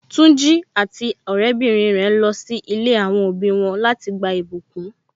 Tunji àti ọrẹ bìnrin rẹ ń lọ si ilé àwọn òbí wọn láti lọ gba ìbùkún.